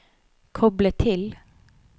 koble til